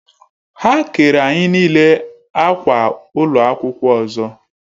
Ha kere anyi n'ile akwa ụlọ akwụkwọ ọzọ